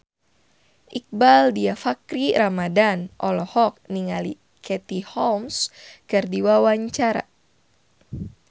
Iqbaal Dhiafakhri Ramadhan olohok ningali Katie Holmes keur diwawancara